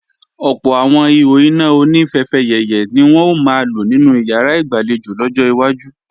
Ọ̀pọ̀ àwọn ihò iná oní fẹfẹyẹ̀yẹ̀ ni wọn ó máa lò nínú ìyàrá ìgbàlejò lọ́jọ́ iwájú